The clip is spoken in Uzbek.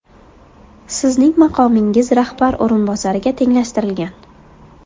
Sizning maqomingiz rahbar o‘rinbosariga tenglashtirilgan.